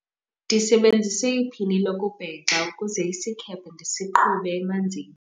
ndisebenzise iphini lokubhexa ukuze isikhephe ndisiqhube emanzini